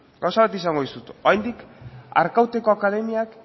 gauza bat esango dizut oraindik arkauteko akademiak